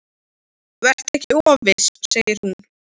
Vertu ekki of viss, segir hún.